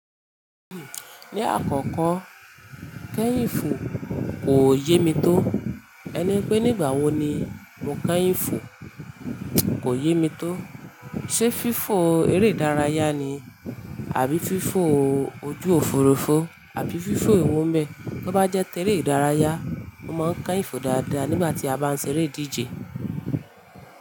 Ni akọkọ kẹ́yìn fo kò yé mi to. Ẹni pé nígbà wo ni mo kẹ́yìn fo, kò yé mi to. Ṣé fífó eré ìdárayá ni àbí fífó ojú òfurufú àbí fífó ewo bẹ? Bí ó bá jẹ́ eré ìdárayá, mo máa ń kẹ́yìn fo dáadáa nígbà tí a bá ń ṣeré ìdíje.